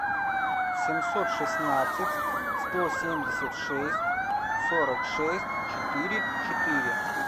семьсот шестнадцать сто семьдесят шесть сорок шесть четыре четыре